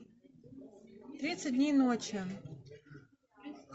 тридцать дней ночи